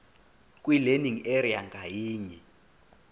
kwilearning area ngayinye